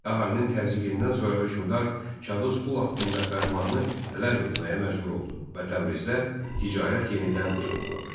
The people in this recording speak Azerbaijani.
Əhalinin təzyiqindən sonra hökmdar kağız pul haqqında fərmanı ləğv etməyə məcbur oldu və Təbrizdə ticarət yenidən canlandı.